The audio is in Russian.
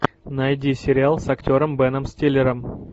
найди сериал с актером беном стиллером